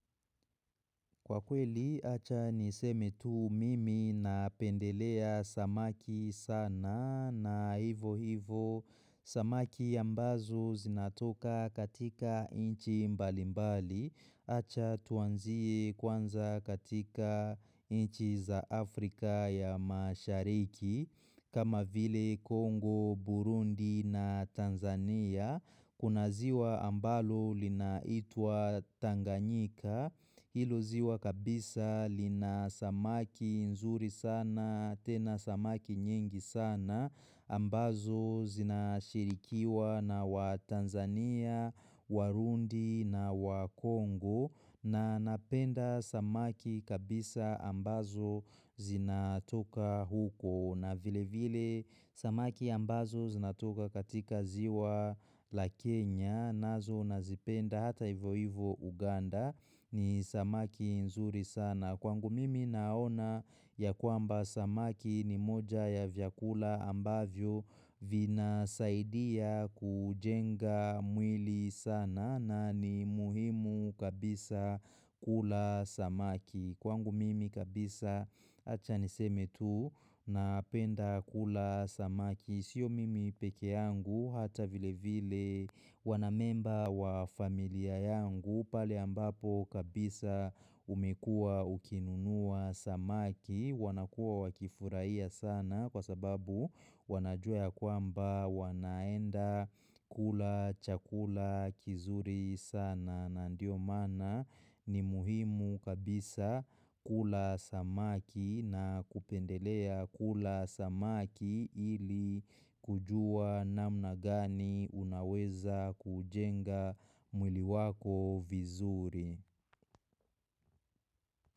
Kwa kweli, acha niseme tu mimi na pendelea samaki sana na hivo hivo samaki ya mbazo zinatoka katika inchi mbalimbali. Acha tuanzie kwanza katika inchi za Afrika ya mashariki. Kama vile Kongo, Burundi na Tanzania, kunaziwa ambalo linaitua Tanganyika. Hilo ziwa kabisa lina samaki nzuri sana, tena samaki nyingi sana, ambazo zinashirikiwa na wa Tanzania, Warundi na wa Kongo na napenda samaki kabisa ambazo zinatoka huko. Na vile vile samaki ambazo zinatoka katika ziwa la Kenya, nazo nazipenda hata hivo hivo Uganda ni samaki nzuri sana. Kwangu mimi naona ya kuamba samaki ni moja ya vyakula ambavyo vina saidia kujenga mwili sana na ni muhimu kabisa kula samaki. Kwangu mimi kabisa achaniseme tu na apenda kula samaki. Sio mimi peke yangu hata vile vile wanamemba wa familia yangu. Pali ambapo kabisa umekua ukinunua samaki. Wanakua wakifuraiya sana kwa sababu wanajua ya kwamba wanaenda kula chakula kizuri sana. Na ndio mana ni muhimu kabisa kula samaki na kupendelea kula samaki ili kujua namna gani unaweza kujenga mwili wako vizuri.